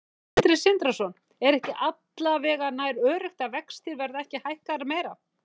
Sindri Sindrason: Er ekki alla vega nær öruggt að vextir verða ekki hækkaðir meira?